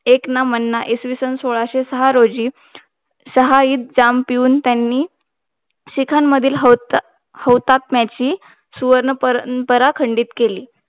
एक ना मनानं इसवीसनसोळाशे सहा रोजी सहा ईद जाम पिऊन त्यांनी शिखांमधील होतात्म्याची सुवर्ण परंपरा खंडित केली.